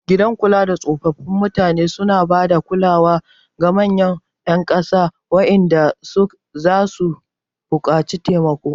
Gidan kulada tsofaffin mutane suna ba da kulawar ga manyan ƴan ƙasa waɗanda zasu buƙaci taimako.